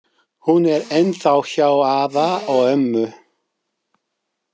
Hún er ennþá hjá afa og ömmu.